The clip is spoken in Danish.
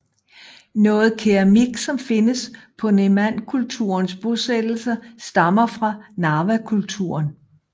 Noget keramik som findes på Nemankulturens bosættelser stammer fra Narvakulturen